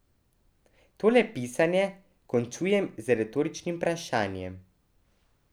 Tole pisanje končujem z retoričnim vprašanjem.